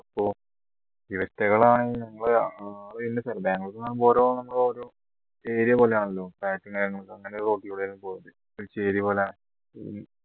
ഇവറ്റകൾ ആണെങ്കിൽ ഞങ്ങളെ ബാംഗ്ലൂര്ന്ന് പറയുമ്പോ ഓരോ നമ്മൾ ഓരോ area പോലെയാണല്ലോ അങ്ങനെ road ലൂടെ ആയിരുന്നു പോയത് ഒരു ചേരി പോലെ